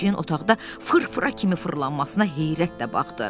O pişiyin otaqda fırfıra kimi fırlanmasına heyrətlə baxdı.